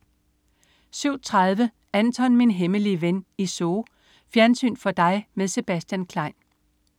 07.30 Anton, min hemmelige ven i Zoo. Fjernsyn for dig med Sebastian Klein